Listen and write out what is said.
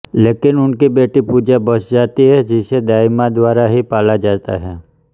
लेकिन उनकी बेटी पूजा बच जाती है जिसे दाई माँ द्वारा ही पाला जाता है